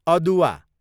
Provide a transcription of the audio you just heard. अदुवा